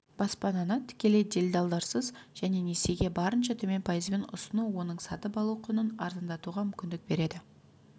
баспананы тікелей делдалдарсыз және несиеге барынша төмен пайызбен ұсыну оның сатып алу құнын арзандатуға мүмкіндік береді